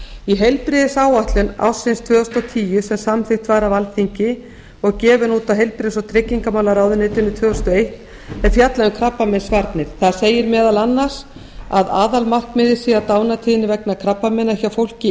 í heilbrigðisáætlun ársins tvö þúsund og tíu sem samþykkt var af alþingi og gefin út af heilbrigðis og tryggingamálaráðuneytinu tvö þúsund og eitt er fjallað um krabbameinsvarnir þar segir meðal annars að aðalmarkmiðið sé að dánartíðni vegna krabbameina hjá fólki